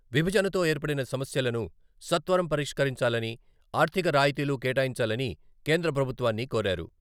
విభజనతో ఏర్పడిన సమస్యలను సత్వరం పరిష్కరించాలని, ఆర్థిక రాయితీలు కేటాయించాలని కేంద్రప్రభుత్వాన్ని కోరారు.